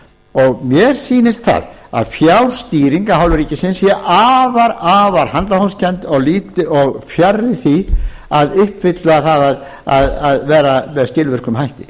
og mér sýnist það að fjárstýring af hálfu ríkisins sé afar handahófskennd og fjarri því að uppfylla það að vera með skilvirkum hætti